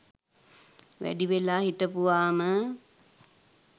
වැඩි වෙලා හිටපුවාම